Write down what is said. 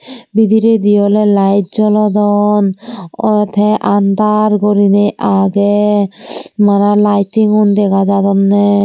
bidiredi awley lait jolodon aw tey andar gurinei agey mana laiting un dega jadonney.